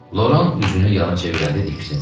Loran üzünü yana çevirəndə diksindi.